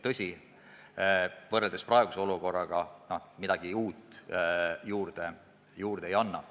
Tõsi, võrreldes praeguse olukorraga see midagi uut juurde ei anna.